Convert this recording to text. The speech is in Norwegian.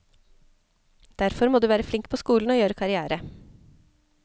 Derfor må du være flink på skolen og gjøre karrière.